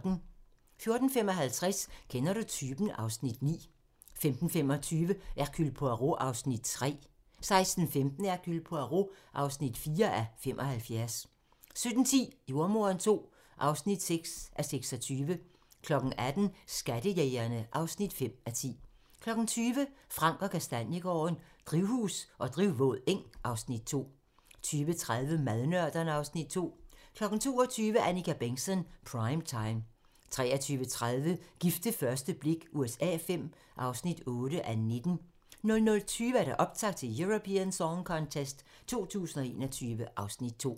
14:55: Kender du typen? (Afs. 9) 15:25: Hercule Poirot (3:75) 16:15: Hercule Poirot (4:75) 17:10: Jordemoderen II (6:26) 18:00: Skattejægerne (5:10) 20:00: Frank & Kastaniegaarden - Drivhus og drivvåd eng (Afs. 2) 20:30: Madnørderne (Afs. 2) 22:00: Annika Bengtzon: Prime Time 23:30: Gift ved første blik USA V (8:19) 00:20: Optakt til Eurovision Song Contest 2021 (Afs. 2)